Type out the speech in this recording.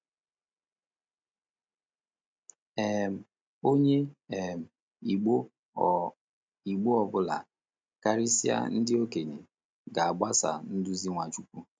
um Onye um Igbo ọ Igbo ọ bụla—karịsịa ndị okenye—ga-agbaso nduzi Nwachukwu.